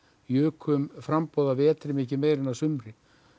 jukum framboð að vetri miklu meira en að sumri